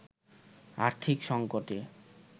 আর্থিক সঙ্কটে